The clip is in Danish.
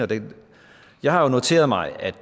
jeg har jo noteret mig at